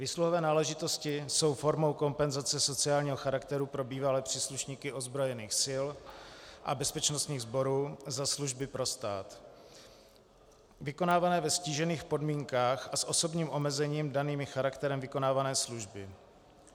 Výsluhové náležitosti jsou formou kompenzace sociálního charakteru pro bývalé příslušníky ozbrojených sil a bezpečnostních sborů za služby pro stát vykonávané ve ztížených podmínkách a s osobními omezeními danými charakterem vykonávané služby.